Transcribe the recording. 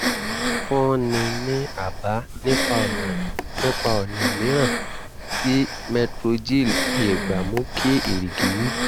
fúnni ní àbá nípa ọ̀nà nípa ọ̀nà mìíràn tí metrogyl lè gbà mú kí erìgì wú